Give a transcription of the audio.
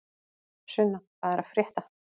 Sunna, hvað er að frétta?